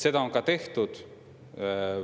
Seda on ka tehtud.